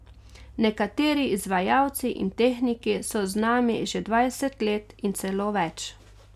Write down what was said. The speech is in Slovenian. Nekateri izvajalci in tehniki so z nami že dvajset let in celo več.